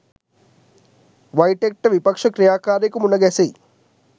වයිටෙක්ට විපක්ෂ ක්‍රියාකාරියකු මුණ ගැසෙයි